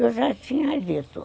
Eu já tinha dito.